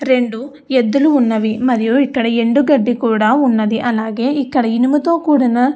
రెండు ఎద్దులు ఉన్నవి మరియు ఇక్కడ ఎండు గడ్డి కూడా ఉన్నది అలాగే ఇక్కడ ఇనుము తో కూడిన --